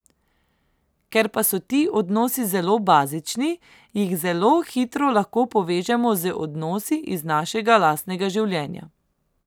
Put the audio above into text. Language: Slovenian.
Ker pa so ti odnosi zelo bazični, jih zelo hitro lahko povežemo z odnosi iz našega lastnega življenja.